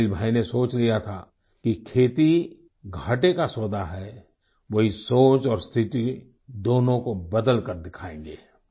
इस्माइल भाई ने सोच लिया था कि खेती घाटे का सौदा है वो ये सोच और स्थिति दोनों को बदलकर दिखायेंगे